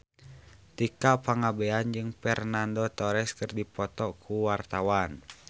Tika Pangabean jeung Fernando Torres keur dipoto ku wartawan